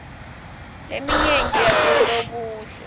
leminye yabolobuhle